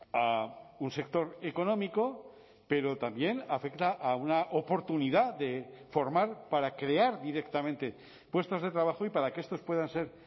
a un sector económico pero también afecta a una oportunidad de formar para crear directamente puestos de trabajo y para que estos puedan ser